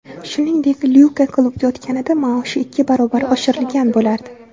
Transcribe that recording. Shuningdek, Lyuka klubga o‘tganida maoshi ikki barobar oshirilgan bo‘lardi.